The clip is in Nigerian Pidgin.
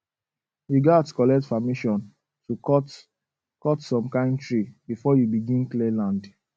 you gats collect permission to cut cut some kind tree before you begin clear land